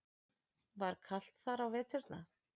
Var kalt þar á veturna?